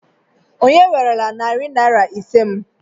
Onye werela narị naira ise m?